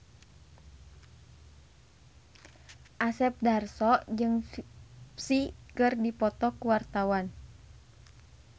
Asep Darso jeung Psy keur dipoto ku wartawan